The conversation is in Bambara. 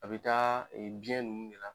A bɛ taa biyɛn ninnu de la.